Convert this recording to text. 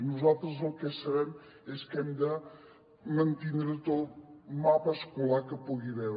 nosaltres el que sabem és que hem de mantindre tot el mapa escolar que hi pugui haver